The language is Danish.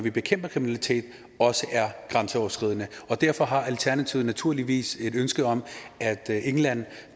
vi bekæmper kriminalitet også er grænseoverskridende og derfor har alternativet naturligvis et ønske om at england